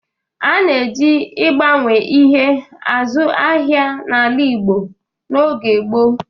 A na-eji ịgbanwe ihe azụ ahịa n'ala Igbo n'oge gboo